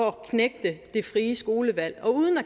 at knægte det frie skolevalg og uden at